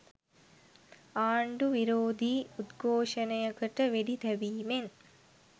ආණ්ඩු විරෝධී උද්ඝෝෂණයකට වෙඩි තැබීමෙන්